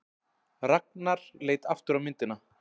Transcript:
Ragnar leit aftur á myndina.